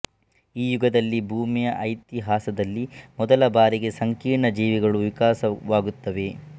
ಈ ಯುಗದಲ್ಲಿ ಭೂಮಿಯ ಇತಿಹಾಸದಲ್ಲಿ ಮೊದಲ ಬಾರಿಗೆ ಸಂಕೀರ್ಣ ಜೀವಿಗಳು ವಿಕಾಸವಾಗುತ್ತವೆ